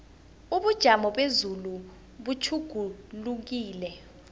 ubujamo bezulu butjhugulukile